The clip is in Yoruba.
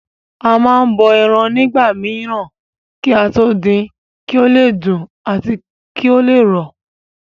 A má n bọ ẹran nígbà mìíràn kí á tó din kí ó le dùn àti kí ó le rọ̀